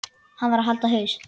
Hann varð að halda haus.